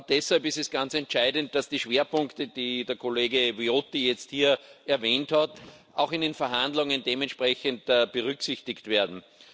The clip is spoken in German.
Deshalb ist es ganz entscheidend, dass die Schwerpunkte, die der Kollege Viotti jetzt hier erwähnt hat, auch in den Verhandlungen dementsprechend berücksichtigt werden.